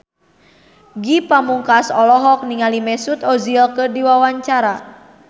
Ge Pamungkas olohok ningali Mesut Ozil keur diwawancara